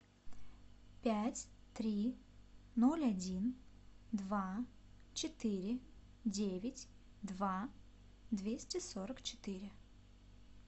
пять три ноль один два четыре девять два двести сорок четыре